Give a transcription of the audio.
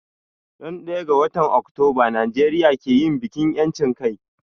Ran daya ga watan Octoba Nijeria ke yin bikin yanchin kai